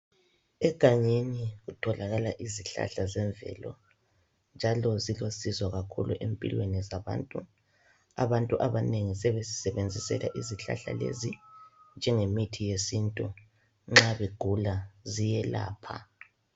Egangeni kutholakala izihlahla zemvelo njalo zilusizo kakhulu empilweni zabantu. Abantu abanengi sebezisebenzisela izihlahla lezi njengemithi yesintu nxa begula ziyelapha.